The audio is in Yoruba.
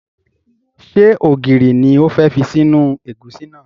Ṣé ògiri ni o fẹ́ fi sínú ẹ̀gúsí náà?